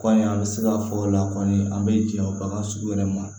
Kɔɲɔ an bɛ se ka fɔ o la kɔni an bɛ jɛ bagan sugu yɛrɛ ma